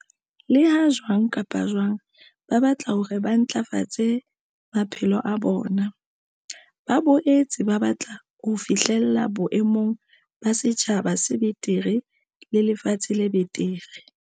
Leha jwang kapa jwang ba batla hore ba ntlafatse maphelo a bona, ba boetse ba batla ho fi hlella boemong ba setjhaba se betere le lefatshe le betere.